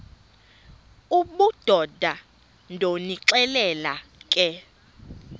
obudoda ndonixelela ke